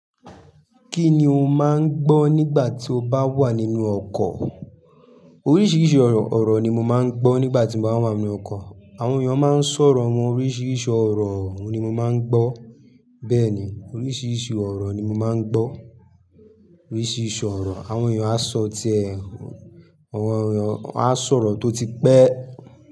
Kí ni o máa ń gbọ́ nígbà tí o bá wà nínú ọkọ̀? Oríṣiríṣi ọ̀rọ̀ ni mo máa ń gbọ́ nígbà tí mo bá wà nínú ọkọ̀. Àwọn èèyàn máa ń sọ̀rọ̀, àwọn oríṣiríṣi ọ̀rọ̀ ni mo máa ń gbọ́. Bẹ́ẹ̀ ni, oríṣiríṣi ọ̀rọ̀ ni mo máa ń gbọ́. Oríṣiríṣi ọ̀rọ̀. Àwọn èèyàn á sọ̀tiẹ́, àwọn èèyàn á sọ̀rọ̀ tó ti pẹ́.